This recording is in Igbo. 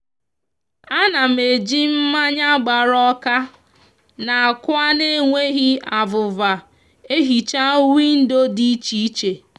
a na m eji mmanya gbara oka na akwa n'enweghi avuva ehicha windo di iche iche